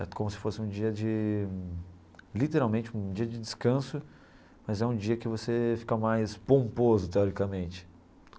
É como se fosse um dia de, literalmente, um dia de descanso, mas é um dia que você fica mais pomposo, teoricamente.